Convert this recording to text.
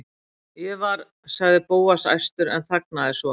Ég var.- sagði Bóas æstur en þagnaði svo.